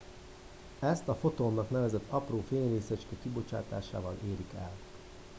ezt a fotonnak nevezett apró fényrészecske kibocsátásával érik el